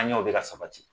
An ɲɛw bɛ ka sabati